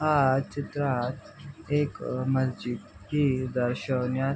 या चित्रात एक मस्जिद ची दर्शन यात--